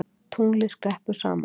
Tunglið skreppur saman